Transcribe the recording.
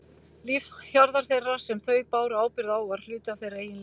Líf hjarðar þeirrar sem þau báru ábyrgð á og var hluti af þeirra eigin lífi.